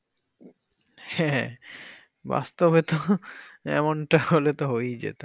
হ্যাঁ বাস্তবে তো এমন টা হলে তো হয়েই যেত